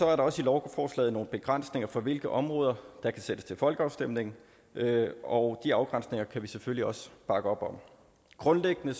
er der også i lovforslaget nogle begrænsninger for hvilke områder der kan sendes til folkeafstemning og de afgrænsninger kan vi selvfølgelig også bakke op om grundlæggende